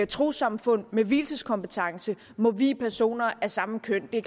trossamfund med vielseskompetence må vie personer af samme køn det